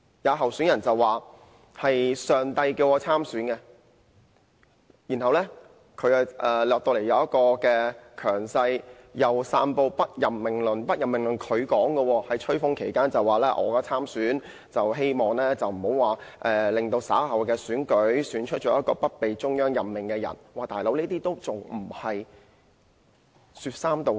有候選人說上帝叫她參選，然後一直表現強勢，又散播"不任命論"，"不任命論"是她提出來的，她在吹風期間表示參選是希望避免在稍後選舉時，選出一名不被中央任命的人，"老兄"，這樣還不是說三道四？